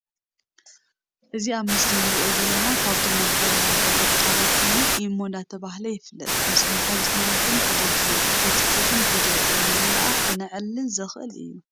እዚ ኣብ ምስሊ እንሪኦ ዘለና ካብቶም ማሕበራዊ ሜዳታት ሓደ ኮይኑ ኢሞ ዳ ተምሃለ ይፍለጥ ምስ ማሓዙቱና ይኩን ፈተውትና ብ ቴክስት ይኩን ቪድዮ ብ ምላልኣክ ክነዕልል ንክእል እዩ።